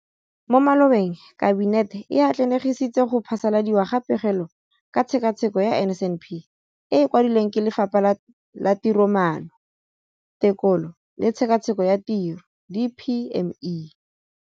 Mo malobeng Kabinete e atlenegisitse go phasaladiwa ga Pegelo ka Tshekatsheko ya NSNP e e kwadilweng ke Lefapha la Tiromaano, Tekolo le Tshekatsheko ya Tiro, DPME].